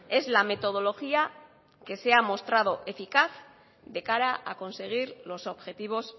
es la metodología que se ha mostrado eficaz de cara a conseguir los objetivos